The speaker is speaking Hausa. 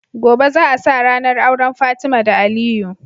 Gobe za a sa rAnar auren fatima da aliyu